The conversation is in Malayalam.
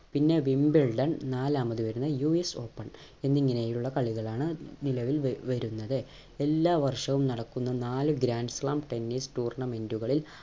പിന്നെ wimbledon പിന്നെ നാലാമത് വരുന്നത് US Open എന്നിങ്ങനെ ഉള്ള കളികളാണ് നിലവിൽ വ വരുന്നത് എല്ലാ വർഷവും നടക്കുന്ന നാല് grand slamtennis tournament കളിൽ